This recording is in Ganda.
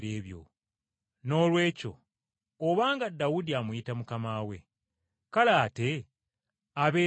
Noolwekyo obanga Dawudi amuyita ‘Mukama we,’ kale, ate abeera atya omwana we?”